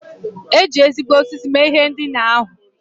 E ji ezigbo osisi mee ihe ndina ahụ.